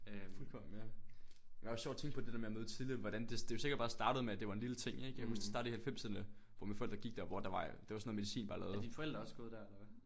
Fuldkommen ja men også sjovt at tænke på det der med at møde tidligt hvordan det det er jo sikkert bare startet med at det var en lille ting ik jeg kan huske det startede i halvfemserne hvor mine forældre gik der hvor det var det var sådan noget medicin bare lavede